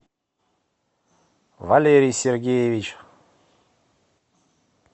валерий сергеевич